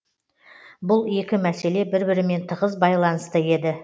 бұл екі мәселе бір бірімен тығыз байланысты еді